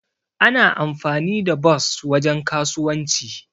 Ana amfani da bos wajen kasuwanci.